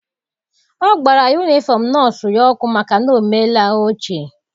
Ọ gbara yunifọm nọọsụ ya ọkụ maka na o meela ochie.